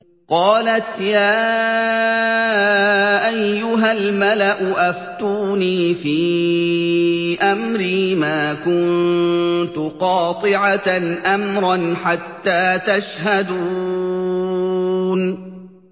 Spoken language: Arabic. قَالَتْ يَا أَيُّهَا الْمَلَأُ أَفْتُونِي فِي أَمْرِي مَا كُنتُ قَاطِعَةً أَمْرًا حَتَّىٰ تَشْهَدُونِ